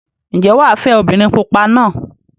Ǹjẹ́ wà á fẹ́ obìnrin pupa náà?